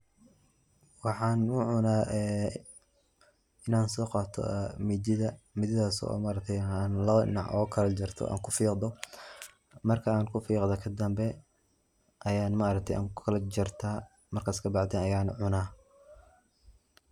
Waxaan u cunaa ee inaan soqato midida midadas oo ma aragtay lawada dinac ooga kalajarta aan ku fiqdo marka aan kufiqdo kadamba ayan ma aragtay aan kukala jarta markas kabacdi ayan cuna.